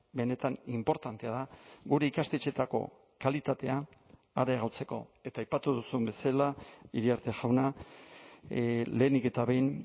benetan inportantea da gure ikastetxeetako kalitatea areagotzeko eta aipatu duzun bezala iriarte jauna lehenik eta behin